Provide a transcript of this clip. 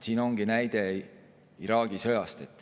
Siin on see näide Iraagi sõjast.